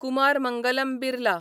Kumar Mangalam Birla